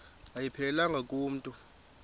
ayiphelelanga ku mntu